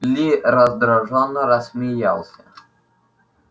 ли раздражённо рассмеялся